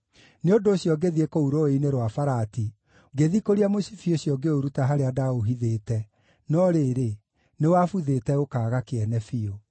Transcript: Nĩ ũndũ ũcio ngĩthiĩ kũu rũũĩ-inĩ rwa Farati, ngĩthikũria mũcibi ũcio ngĩũruta harĩa ndaaũhithĩte, no rĩrĩ, nĩwabuthĩte ũkaaga kĩene biũ.